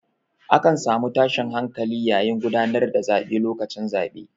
A kan samu tashin hankali yayin gudanar da zaɓe lokacin zaɓe.